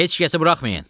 Heç kəsi buraxmayın.